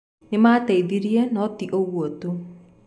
Nĩ maateithirie, no ti ũguo tu.